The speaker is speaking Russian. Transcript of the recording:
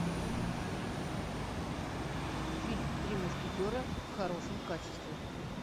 фильм три мушкетера в хорошем качестве